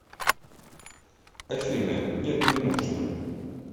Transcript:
афина нет не нужно